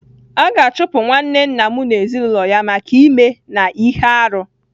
A ga-achụpụ nwanne nna m na ezinụlọ ya maka ime na ihe arụ.